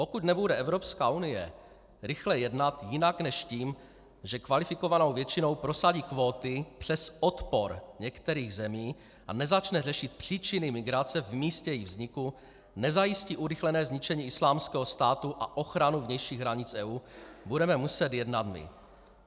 Pokud nebude Evropská unie rychle jednat jinak než tím, že kvalifikovanou většinou prosadí kvóty přes odpor některých zemí, a nezačne řešit příčiny migrace v místě jejich vzniku, nezajistí urychlené zničení Islámského státu a ochranu vnějších hranic EU, budeme muset jednat my.